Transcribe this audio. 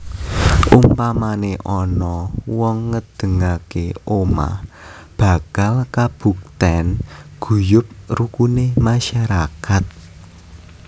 Umpamane ana wong ngedengake omah bakal kabukten guyub rukune masyarakat